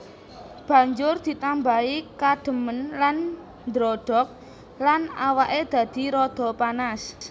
Banjur ditambahi kadhemen lan ndrodhok lan awake dadi rada panas